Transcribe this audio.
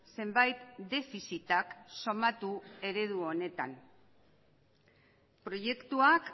zenbait defizitak somatu eredu honetan proiektuak